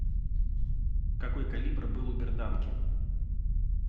какой калибр был у берданки